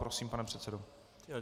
Prosím, pane předsedo.